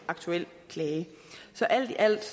aktuel klage så alt i alt